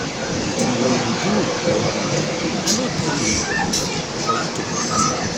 the thing wey you do no good i no tell you for you to broadcast am.